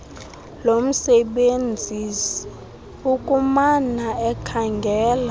lomsebenzisi ukumana ekhangela